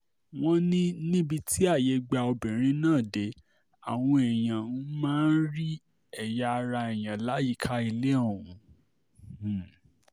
wọ́n ní níbi tí ààyè gba obìnrin náà dé àwọn èèyàn um máa ń rí ẹ̀yà ara èèyàn láyìíká ilé ọ̀hún um